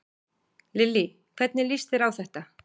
Lillý: Hvernig líst þér á þetta?